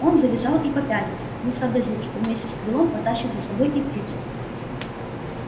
он завизжал и попятился не сообразив что вместе с крылом потащит за собой и птицу